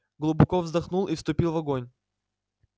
глубоко вздохнул и вступил в огонь